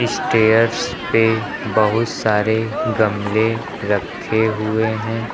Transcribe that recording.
Stairs पे बहुत सारे गमले रखे हुए हैं।